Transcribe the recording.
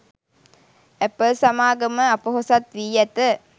Apple සමාගම අපොහොසත් වී ඇත